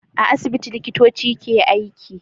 A asibiti liƙitoci ke aiki